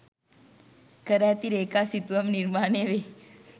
කර ඇති රේඛා සිතුවම් නිර්මාණ වේ.